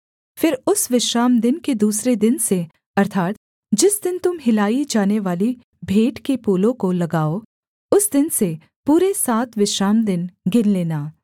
फिर उस विश्रामदिन के दूसरे दिन से अर्थात् जिस दिन तुम हिलाई जानेवाली भेंट के पूले को लाओगे उस दिन से पूरे सात विश्रामदिन गिन लेना